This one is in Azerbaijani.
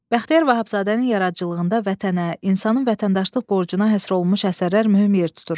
Bəxtiyar Vahabzadənin yaradıcılığında vətənə, insanın vətəndaşlıq borcuna həsr olunmuş əsərlər mühüm yer tutur.